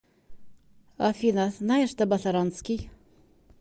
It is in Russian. афина знаешь табасаранский